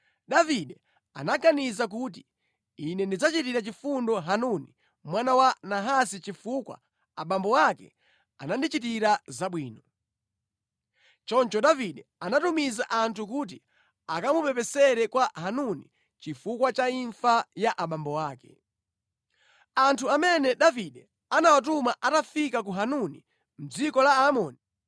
Davide anaganiza kuti, “Ine ndidzachitira chifundo Hanuni mwana wa Nahasi chifukwa abambo ake anandichitira zabwino.” Choncho Davide anatumiza anthu kuti akamupepesere kwa Hanuni chifukwa cha imfa ya abambo ake. Anthu amene Davide anawatuma atafika kwa Hanuni mʼdziko la Aamoni,